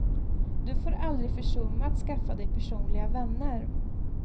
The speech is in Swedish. Du får aldrig försumma att skaffa dig personliga vänner.